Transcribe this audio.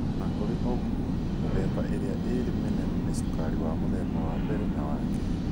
O na kũrĩ ũguo, mĩthemba ĩrĩa ĩrĩ mĩnene nĩ cukari wa mũthemba wa mbere na wa kerĩ.